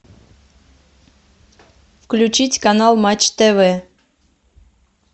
включить канал матч тв